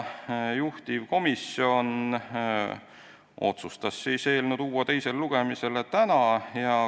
Juhtivkomisjon otsustas tuua eelnõu teisele lugemisele täna.